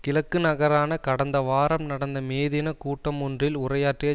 கிழக்கு நகரான கடந்த வாரம் நடந்த மே தின கூட்டமொன்றில் உரையாற்றிய